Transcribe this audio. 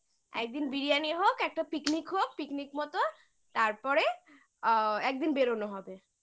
একদিন biryani হোক একটা picnic হোক picnic মতো তারপরে আ একদিন বেরোনো হবে